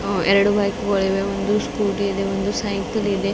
ಹಾಗು ಎರಡು ಬೈಕ್ ಗಳು ಇವೆ ಒಂದು ಸ್ಕೂಟಿ ಇದೆ ಒಂದು ಸೈಕಲ್ ಇದೆ.